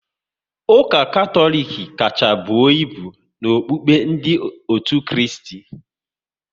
Ụka Katọlik kacha buo ibu n'okukpe ndị otu Kristi